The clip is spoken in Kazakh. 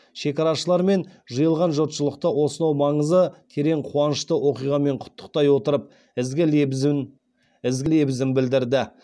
шекарашылар мен жиылған жұртшылықты осынау маңызы терең қуанышты оқиғамен құттықтай отырып ізгі лебізін білдірді